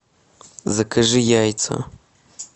закажи яйца